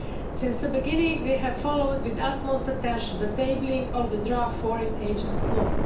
Since the beginning we have followed with utmost attention the tabling of the draft foreign agents law.